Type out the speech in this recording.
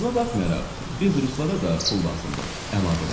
Buna baxmayaraq, biz ruslara da pul lazımdır, əlavə elədim.